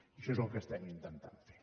això és el que estem intentant fer